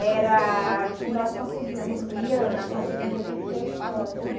era que nós conseguíamos, íamos conseguir reverter a história, né?